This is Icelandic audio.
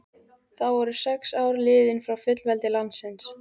Þá voru sex ár liðin frá fullveldi landsins.